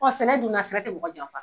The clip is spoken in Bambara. sɛnɛ dun na sɛnɛ tɛ mɔgɔ janfa.